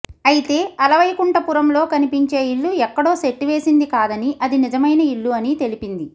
అయితే అలవైకుంఠపురంలో కనిపించే ఇల్లు ఎక్కడో సెట్ వేసింది కాదని అది నిజమైన ఇల్లు అని తెలిపింది